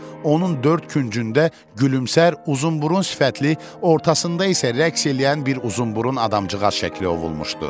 Onun dörd küncündə gülümsər, uzunburun sifətli, ortasında isə rəqs eləyən bir uzunburun adamcığaz şəkli ovulmuşdu.